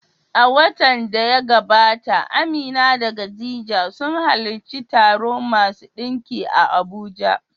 A watan da ya gabata, Amina da Khalid sun halarci taro masu ɗinki a Abuja.